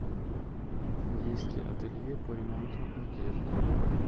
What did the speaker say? есть ли ателье по ремонту одежды